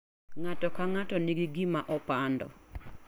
Ng'ato ka ng'ato nigi gima opando.